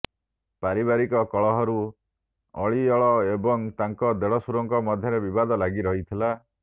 ପାରିବାରିକ କଳହରୁ ଅଲିଅଳ ଏବଂ ତାଙ୍କ ଦେଢ଼ଶୁରଙ୍କ ମଧ୍ୟରେ ବିବାଦ ଲାଗି ରହିଥିଲା